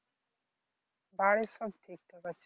বাড়ির সব ঠিক ঠাক আছে